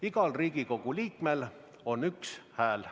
Igal Riigikogu liikmel on üks hääl.